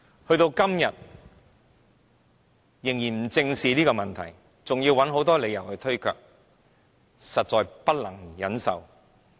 時至今日，政府仍不願意正視這些問題，甚至找各種理由推卻，實在不能忍受。